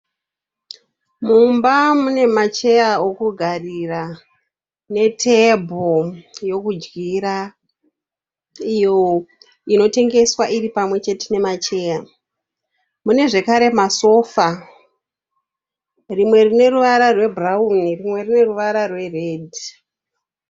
Mumba mune macheya okugarira netebho yekudyira iyo inotengeswa iri mamwe chete memacheya mune zvakare masofa rimwe rine ruvara rwebhurauni rumwe rune ruvara rweredhi